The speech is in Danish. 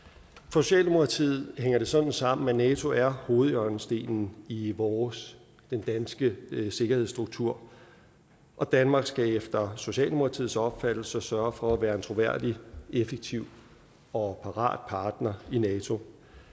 socialdemokratiet hænger det sådan sammen at nato er hovedhjørnestenen i vores den danske sikkerhedsstruktur og danmark skal efter socialdemokratiets opfattelse sørge for at være en troværdig effektiv og parat partner i nato